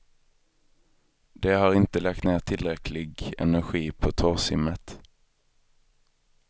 De har inte lagt ner tillräcklig energi på torrsimmet.